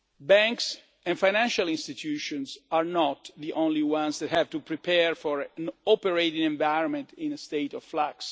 Banks and financial institutions are not the only ones that have to prepare for an operating environment in a state of